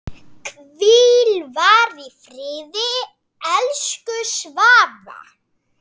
Hvíl í friði, elsku Svafa.